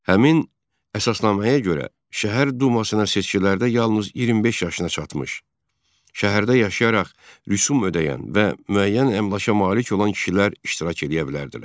Həmin əsasnaməyə görə şəhər dumasına seçkilərdə yalnız 25 yaşına çatmış, şəhərdə yaşayaraq rüsum ödəyən və müəyyən əmlaka malik olan kişilər iştirak eləyə bilərdilər.